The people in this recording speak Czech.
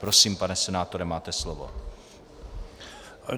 Prosím, pane senátore, máte slovo.